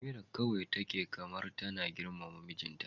Amira kawai take kamar tana girmama mijinta.